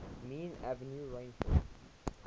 mean annual rainfall